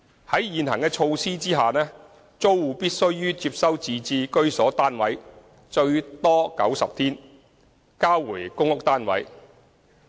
在現行措施下，租戶必須於接收自置居所單位後最多90天內交回公屋單位。